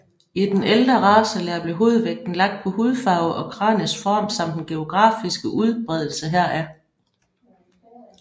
I den ældre racelære blev hovedvægten lagt på hudfarve og kraniets form samt den geografiske udbredelse heraf